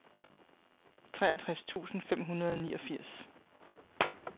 treogtres tusind fem hundrede og niogfirs